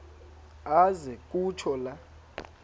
aze kutsho la